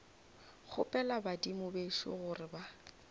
kgopela badimo bešo gore ba